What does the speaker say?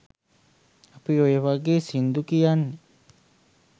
අපි ඔය වගේ සින්දු කියන්නෙ